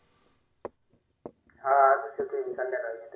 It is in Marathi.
हा आजच येतोय संध्याकाळी